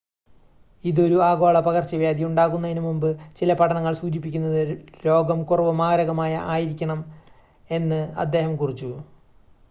ഇത് ഒരു ആഗോള പകർച്ചവ്യാധി ഉണ്ടാക്കുന്നതിനുമുമ്പ് ചില പഠനങ്ങൾ സൂചിപ്പിക്കുന്നത് രോഗം കുറവ് മാരകമായ ആയിരിക്കണം എന്ന് അദ്ദേഹം കുറിച്ചു